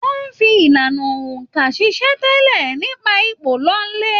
Wọn fí ìlànà óńka ṣiṣẹ-n-tẹle nípa ipò lọlẹ.